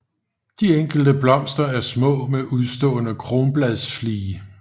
De enkelte blomster er små med udstående kronbladflige